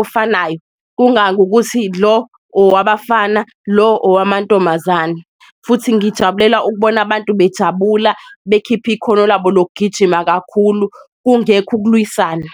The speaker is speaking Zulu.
ofanayo. Kungayi ngokuthi lo owabafana lo owamantombazane, futhi ngijabulela ukubona abantu bejabula bekhipha ikhono labo lokugijima kakhulu, kungekho ukulwisana.